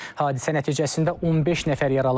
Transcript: Hadisə nəticəsində 15 nəfər yaralanıb.